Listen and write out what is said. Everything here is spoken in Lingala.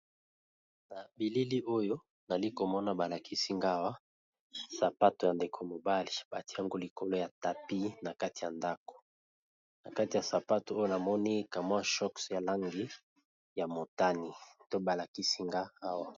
Na bilili oyo nali komona balakisi nga awa sapato ya ndeko mobali batiango likolo ya tapi na kati ya ndako na kati ya sapato oyo namoni ka mwa choks ya langi ya motani to balakisi nga awa.